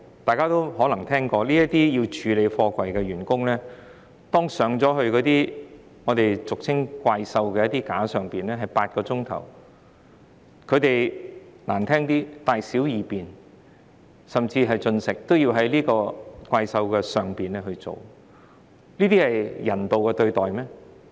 大家可能聽過，處理貨櫃的工人需要坐上俗稱的"怪獸架"長達8小時，難聽點說，他們的大小二便，甚至進食，均要在"怪獸架"上進行，難道這是人道對待嗎？